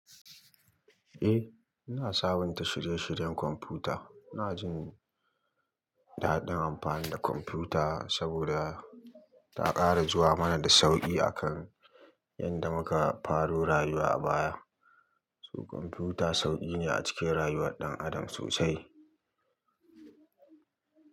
Eh, ina sabunta shirye-shiryen kwamfuta. Ina jin daɗin amfani da kwamfuta saboda ta ƙara zuwa mana da sauƙi akan yanda muka faro rayuwa a baya. Kwamfuta sauƙi ne a cikin rayuwar ɗan adam sosai.